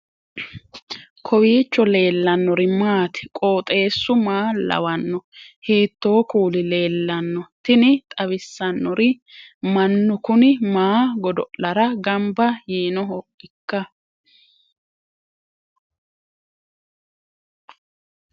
kowiicho leellannori maati ? qooxeessu maa lawaanno ? hiitoo kuuli leellanno ? tini xawissannori mannu kuni maa godo'lara gamba yiinohoikka